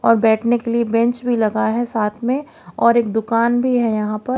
और बैठने के लिए बेंच भी लगा है साथ में और एक दुकान भी है यहां पर।